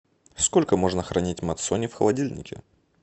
сколько можно хранить мацони в холодильнике